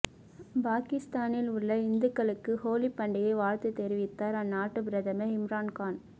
பாகிஸ்தானில் உள்ள இந்துக்களுக்கு ஹோலிப் பண்டிகை வாழ்த்து தெரிவித்தார் அந்நாட்டு பிரதமர் இம்ரான்கான்